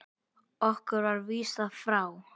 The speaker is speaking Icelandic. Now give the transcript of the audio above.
Okkur var vísað frá.